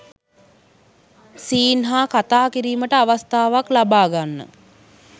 scene හා කතා කිරීමට අවස්ථාවක් ලබා ගන්න